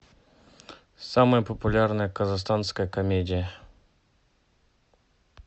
самая популярная казахстанская комедия